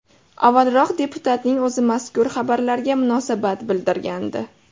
Avvalroq deputatning o‘zi mazkur xabarlarga munosabat bildirgandi .